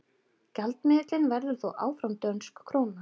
gjaldmiðillinn verður þó áfram dönsk króna